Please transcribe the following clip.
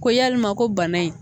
Ko yalima ko bana in